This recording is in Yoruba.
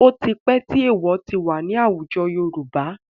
Ó ti pẹ́ tí èèwọ̀ ti wà ní àwùjọ Yorùbá.